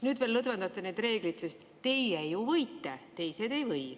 Nüüd veel lõdvendate neid reegleid, sest teie ju võite, teised ei või.